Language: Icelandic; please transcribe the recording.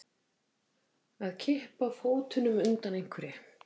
Að kippa fótunum undan einhverju